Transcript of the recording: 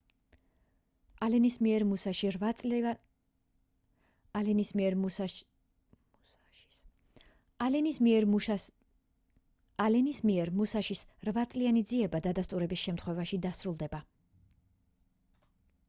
ალენის მიერ მუსაშის რვაწლიანი ძიება დადასტურების შემთხვევაში დასრულდება